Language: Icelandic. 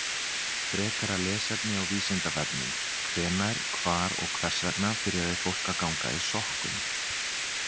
Frekara lesefni á Vísindavefnum: Hvenær, hvar og hvers vegna byrjaði fólk að ganga í sokkum?